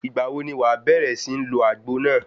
Ìgbà wo ni wàá bẹ̀rẹ̀ sí ń lo àgbo náà?